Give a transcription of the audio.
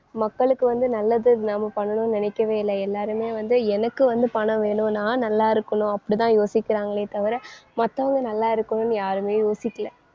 மக்களுக்கு வந்து நல்லது நம்ம பண்ணணும்னு நினைக்கவே இல்ல. எல்லாருமே வந்து எனக்கு வந்து பணம் வேணும் நான் நல்லாருக்கணும் அப்படித்தான் யோசிக்கிறாங்களே தவிர மத்தவங்க நல்லா இருக்கணும்னு யாருமே யோசிக்கல.